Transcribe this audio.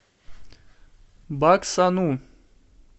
баксану